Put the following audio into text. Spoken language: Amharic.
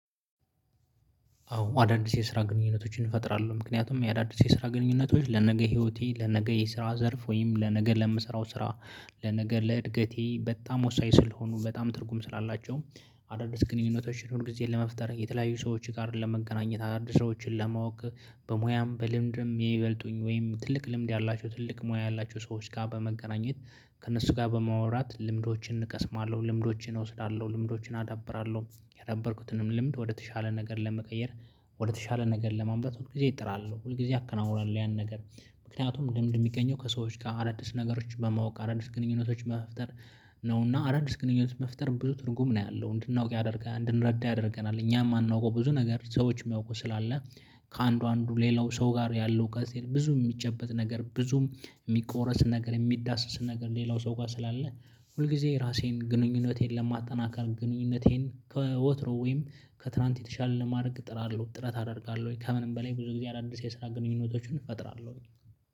አዎ አዳዲስ የስራ ግንኙነቶችን እንፈጥራለን ምክንያቱም የአዳዲስ የስራ ግንኙነቶች ለነገ ህይወቴ ለነገ የስራ ዘርፍ ወይም ለነገ ለምሰራው ስራ ለነገ ለእድገቴ በጣም ወሳኝ ስለሆኑ በጣም ትርጉም ስላላቸውም። አዳዲስ ግንኙነቶችን ሁል ጊዜ ለመፍጠር የተለያዩ ሰዎች ጋር ለመገናኘት አዳዲስ ሰዎችን ለማወቅ። በሙያም በልምድም የይበልጡኝ ወይም ትልቅ ልምድ ያላቸው ትልቅ ሙያ ያላቸው ሰዎች ጋር በመገናኘት ከእነሱ ጋር በማውራት ልምዶችን እቀስማለሁ ልምዶችን እወስዳለሁ ልምዶችን አዳብራለሁ የዳበርኩትንም ልምድ ወደተሻለ ነገር ለመቀየር። ወደተሻለ ነገር ለማንበት ሁል ጊዜ እጥራለሁ ሁል ጊዜ አከናውኗል ያን ነገር። ምክንያቱም ልምድ የሚገኘው ከሰዎች ጋር አረድስ ነገሮችን በማወቅ አረድስ ግንኙነቶችን መፍጠር ነው። እና አዳዲስ ግንኙነት መፍጠር ብዙ ትርጉም ነው ያለው እንድናውቅ ያደርጋል እንድንረዳ ያደርገናል እኛም አናውቀው ብዙ ነገር ሰዎች የሚያውቁ ስላለ። ከአንዱ አንዱ ሌላው ሰው ጋር ያለው ጋዜ ብዙ የሚጨበጥ ነገር ብዙም የሚቆረስ ነገር የሚዳስስ ነገር ሌላው ሰው ጋር ስላለ። ሁል ጊዜ ራሴን ግንኙነቴን ለማጠናከር ግንኙነቴን ከወትሮ ወይም ከትላንት የተሻለ ለማድረግ ጥራለሁ ጥራት አደርጋለሁ ወይ ከምንም በላይ ብዙ ጊዜ አዳዲስ የስራ ግንኙነቶችን እፈጥራለሁ።